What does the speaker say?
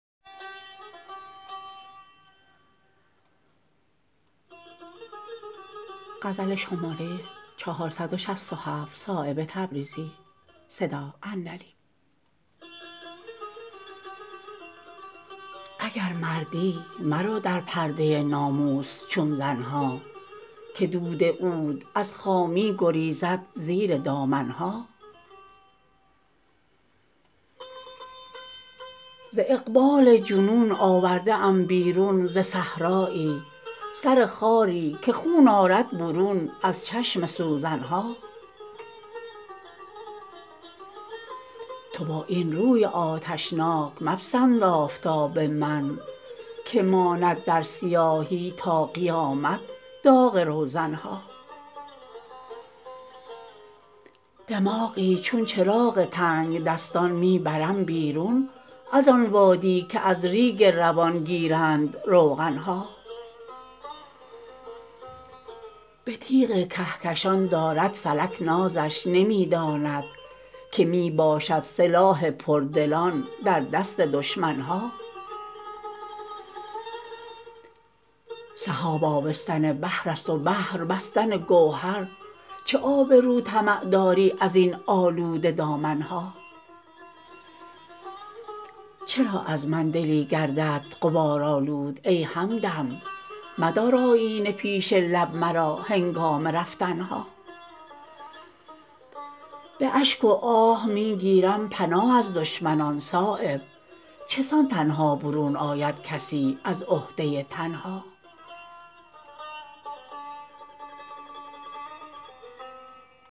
اگر مردی مرو در پرده ناموس چون زن ها که دود عود از خامی گریزد زیر دامن ها ز اقبال جنون آورده ام بیرون ز صحرایی سر خاری که خون آرد برون از چشم سوزن ها تو با این روی آتشناک مپسند آفتاب من که ماند در سیاهی تا قیامت داغ روزن ها دماغی چون چراغ تنگدستان می برم بیرون ازان وادی که از ریگ روان گیرند روغن ها به تیغ کهکشان دارد فلک نازش نمی داند که می باشد سلاح پردلان در دست دشمن ها سحاب آبستن بحرست و بحر بستن گوهر چه آب رو طمع داری ازین آلوده دامن ها چرا از من دلی گردد غبارآلود ای همدم مدار آیینه پیش لب مرا هنگام رفتن ها به اشک و آه می گیرم پناه از دشمنان صایب چسان تنها برون آید کسی از عهده تنها